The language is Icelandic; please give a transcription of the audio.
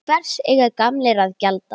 Hvers eiga gamlir að gjalda?